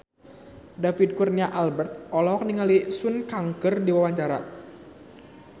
David Kurnia Albert olohok ningali Sun Kang keur diwawancara